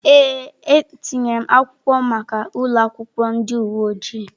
Ee, etinyere m akwụkwọ maka ụlọ akwụkwọ ndị uwe ojii.